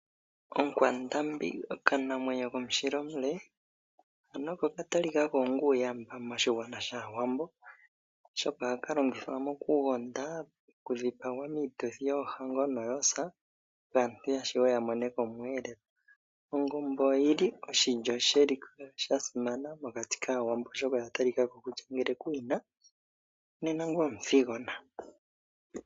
Onkwandambi okanamwenyo komushila omule, ano oko oka talika kako onga uuyamba moshigwana shaawambo, oshoka ohaka longithwa mokugonda, okudhipagwa miituthi yoohango noyoosa opo aantu yashuwe ya mone ko omweelelo. Ongombe oyi li oshilyo sheliko sha simana mokati kaawambo, oshoka oya talika ko kutya ngele ku yi na, nena ngoye omuthigona.